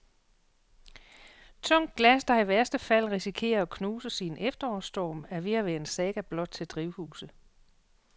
Tungt glas, der i værste fald risikerer at knuses i en efterårsstorm, er ved at være en saga blot til drivhuse.